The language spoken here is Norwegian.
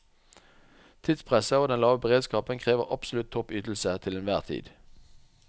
Tidspresset og den lave beredskapen krever absolutt topp ytelse til enhver tid.